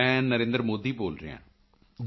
ਮੈਂ ਨਰੇਂਦਰ ਮੋਦੀ ਬੋਲ ਰਿਹਾ ਹਾਂ